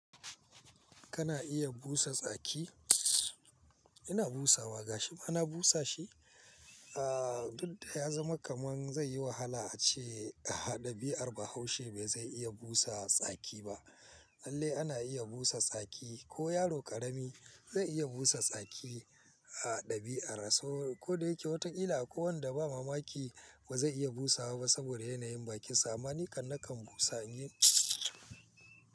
Kana iya busa tsaki? Ina busawa gashi mana busa shi. Ah duk da ya zama kaman zai yi wahala ace ɗabi'ar bahaushe bai zai iya busa tsaki ba. Lallai ana iya busa tsaki ko yaro ƙarami zai iya busa tsaki a ɗabi'ar hausa. Ko da yake watan ila ko wanda ba mamaki ba zai iya busawa ba saboda yanayin bakinsa. Mani kan nakan busa in yi.